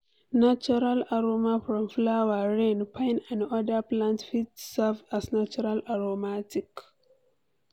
Natural aroma from flower, rain, pine and oda plants fit serve as natural aromatic